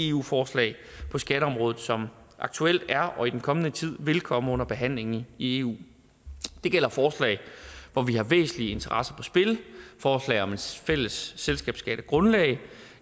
eu forslag på skatteområdet som aktuelt er og i den kommende tid vil komme under behandling i eu det gælder forslag hvor vi har væsentlige interesser på spil forslag om et fælles selskabsskattegrundlag